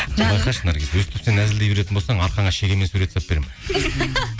байқашы наргиз өйстіп сен әзілдей беретін болсаң арқаңа шегемен сурет салып беремін